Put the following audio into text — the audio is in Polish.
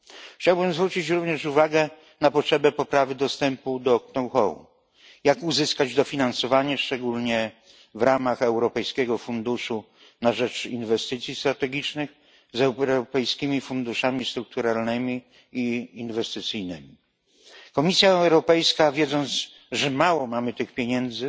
Chciałbym zwrócić również uwagę na potrzebę poprawy dostępu do know how jak uzyskać dofinansowanie, szczególnie w ramach Europejskiego Funduszu na rzecz Inwestycji Strategicznych z europejskimi funduszami strukturalnymi i inwestycyjnymi. Komisja Europejska, wiedząc, że mamy mało tych pieniędzy,